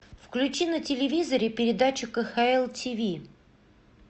включи на телевизоре передачу кхл тиви